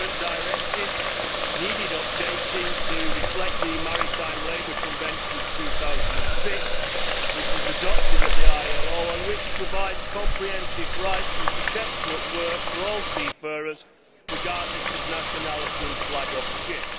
The current directive needed updating to reflect the Maritime Labour Convention of 2006, which was adopted by the International Labour Organization and which provides comprehensive rights and protection at work for all seafarers, regardless of nationality and flag of ship.